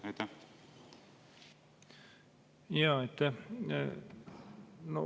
Aitäh!